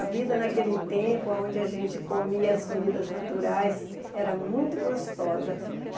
A vida naquele tempo, aonde a gente comia as comidas naturais, era muito gostosa.